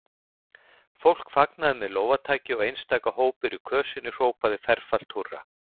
Fólk fagnaði með lófataki og einstaka hópur í kösinni hrópaði ferfalt húrra.